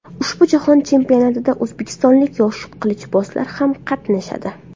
Ushbu jahon chempionatida o‘zbekistonlik yosh qilichbozlar ham qatnashadi.